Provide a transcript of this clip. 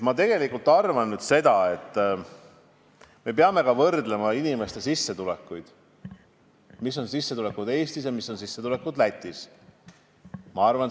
Ma arvan, et me peame võrdlema ka inimeste sissetulekuid, seda, mis on sissetulekud Eestis ja mis on sissetulekud Lätis.